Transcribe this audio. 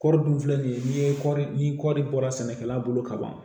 Kɔɔri dun filɛ nin ye n'i ye kɔɔri ni kɔɔri bɔra sɛnɛkɛla bolo ka ban